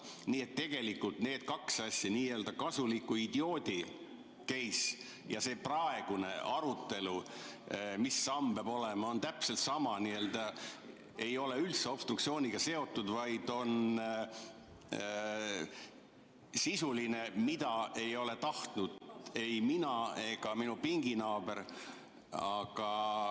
Nii et tegelikult need kaks asja, n‑ö kasuliku idioodi case ja see praegune arutelu, mis sammud peavad olema, on täpselt samad, ei ole üldse obstruktsiooniga seotud, vaid on sisulised, mida ei ole tahtnud ei mina ega minu pinginaaber, aga ...